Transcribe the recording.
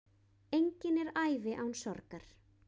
Engin er ævi án sorgar.